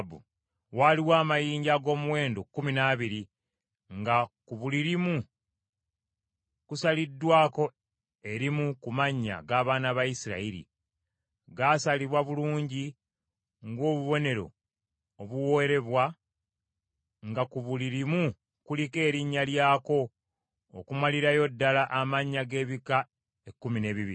Waaliwo amayinja ag’omuwendo kkumi n’abiri, nga ku buli limu kusaliddwako erimu ku mannya g’abaana ba Isirayiri. Gaasalibwa bulungi ng’obubonero obuwoolebwa nga ku buli limu kuliko erinnya lyako okumalirayo ddala amannya g’ebika ekkumi n’ebibiri.